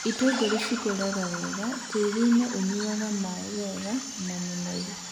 itũngũrũ cikũraga wega tĩrinĩ ũnyuaga maĩ wega na mũnoru.